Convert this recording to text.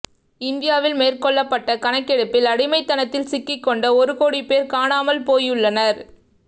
இந்தியாவில் மேற்கொள்ளப்பட்ட கணக்கெடுப்பில் அடிமைத்தனத்தில் சிக்கிக்கொண்ட ஒரு கோடி பேர் காணாமல் போயுள்ளனர்